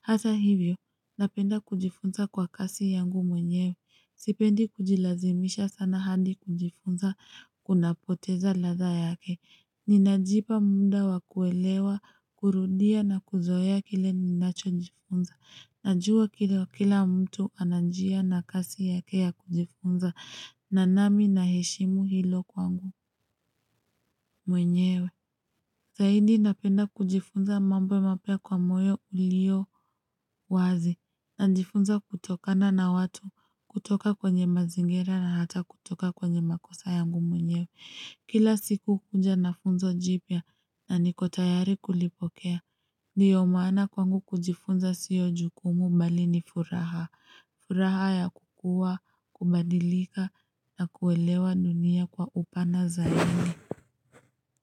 Hata hivyo, napenda kujifunza kwa kasi yangu mwenyewe. Sipendi kujilazimisha sana hadi kujifunza kuna poteza laza yake. Ninajipa munda wakuelewa, kurudia na kuzoeya kile ninacho njifunza. Najua kila mtu anajia na kasi yake ya kujifunza, nanami na heshimu hilo kwangu mwenyewe. Zahidi napenda kujifunza mambo mapya kwa moyo ulio wazi. Na njifunza kutokana na watu, kutoka kwenye mazingira na hata kutoka kwenye makosa yangu mwenyewe. Kila siku huja na funzo jipya na niko tayari kulipokea. Ndiyo maana kwangu kujifunza siyo jukumu bali ni furaha. Furaha ya kukua, kubadilika na kuelewa dunia kwa upana zaidi.